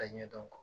A ɲɛdɔn